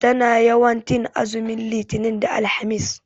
Tana yawan tin azumin litinin da alhamis